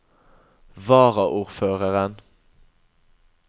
varaordføreren